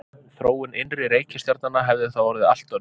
Þróun innri reikistjarnanna hefði þá orðið allt önnur.